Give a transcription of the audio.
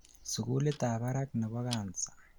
sugulit ab barak nebo cancer